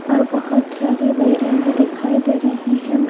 और बहुत सारे वैरियम भी दिखाई दे रहे हैं। बे --